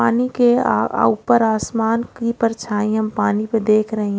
पानी के आ आ ऊपर आसमान की परछाई हम पानी पी देख रहे--